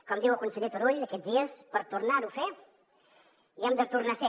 com diu el conseller turull aquests dies per tornar ho a fer hi hem de tornar a ser